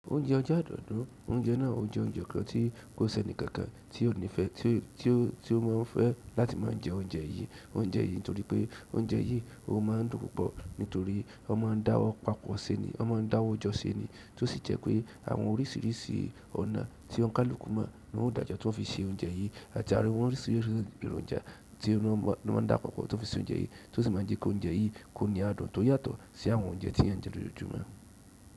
Oúnjẹ ọjọ́ àádọ́dún, oúnjẹ náà o jẹ oúnjẹ kan tí kò sẹ́ni kankan tí ó nífẹẹ tí ó máa fẹ́ láti máa jẹ oúnjẹ yìí, oúnjẹ yìí nítorí pé oúnjẹ yìí ó máa ń dùn púpọ̀ nítorí wón máa ń dáwọ́ pàpọ̀ se ni, wón ma ń dáwọ́ jọ se ni tí ó sì jẹ pé àwọn oríṣiríṣi ọ̀nà tí ó ń kálù kú mo ni wọ́n dàjo ti wón o fi se oúnjẹ yìí àti àwọn oríṣiríṣi èròjà tí wọ́n dàpa pọ̀ tón fi se oúnjẹ yìí tí ó sì máa ń jẹ́ kí oúnjẹ yìí kó ní adùn tó yàtọ̀ sí àwọn oúnjẹ tí ènìyàn jẹ lójoojúmọ́.